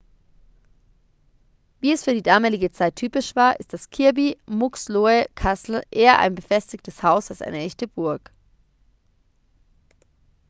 wie es für die damalige zeit typisch war ist das kirby muxloe castle eher ein befestigtes haus als eine echte burg